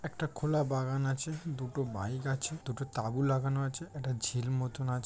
একটা খোলা বাগান আছে। দুটো বইক আছে। দুটো তাবু লাগানো আছে। একটা ঝিল মতো আছ--